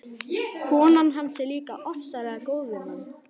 Konan hans er líka ofsalega góð við mann.